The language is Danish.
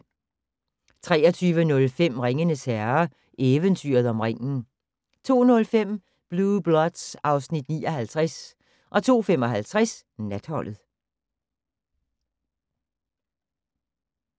23:05: Ringenes Herre - Eventyret om ringen 02:05: Blue Bloods (Afs. 59) 02:55: Natholdet